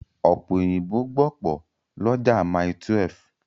Ọ̀pẹ̀ òyìnbó gbọ̀pọ̀ lọ́jà Mile12.